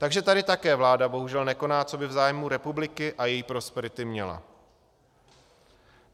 Takže tady také vláda bohužel nekoná, co by v zájmu republiky a její prosperity měla.